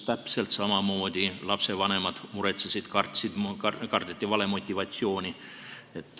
Täpselt samamoodi lastevanemad muretsesid, kartsid, kardeti valemotivatsiooni.